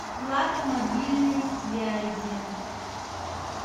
плата мобильной связи